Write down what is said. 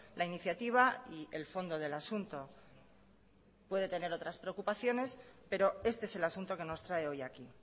la iniciativa y el fondo del asunto puede tener otras preocupaciones pero este es el asunto que nos trae hoy aquí